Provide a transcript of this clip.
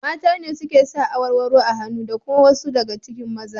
Mata ne suke sa awarwaro a hannu da kuma wasu daga cikin maza.